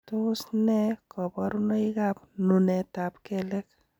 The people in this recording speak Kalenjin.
Tos nee koborunoikab nunetab kelek?